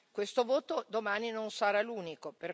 Questo voto domani non sarà l'unico.